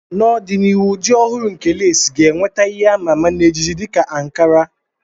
N'ọdịnihu, ụdị ọhụrụ nke lesii ga-enweta ihe a ma ama na ejiji dị ka ankara.